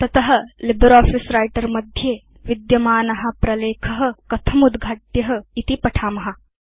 तत LibreOffice Writer मध्ये विद्यमान प्रलेख कथं उद्घाट्य इति पठेम